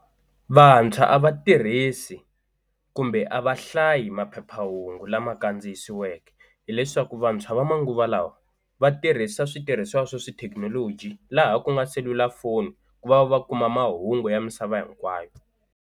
Vantshwa a va tirhisi kumbe a va hlayi maphephahungu lama kandziyisiweke hileswaku vantshwa va manguva lawa va tirhisa switirhisiwa swa xithekinoloji laha ku nga selulafoni ku va va va kuma mahungu ya misava hinkwayo.